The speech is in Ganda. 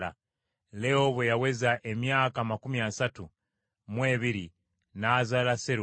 Leewo bwe yaweza emyaka amakumi asatu mu ebiri n’azaala Serugi.